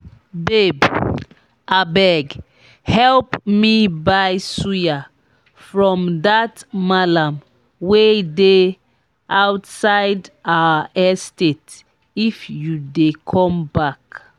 babe abeg help me buy suya from dat mallam wey dey outside our estate if you dey come back